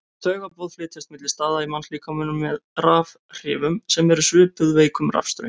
Taugaboð flytjast milli staða í mannslíkamanum með rafhrifum sem eru svipuð veikum rafstraumi.